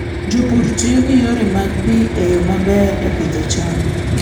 Jopur tiyo gi yore mag pi e yo maber e pidho cham.